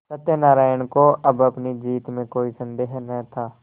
सत्यनाराण को अब अपनी जीत में कोई सन्देह न था